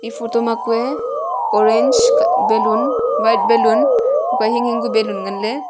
photo ma kue oranges balloon white balloon kua hinghing ka balloon nganley.